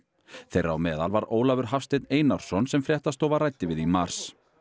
þeirra á meðal var Ólafur Hafsteinn Einarsson sem fréttastofa ræddi við í mars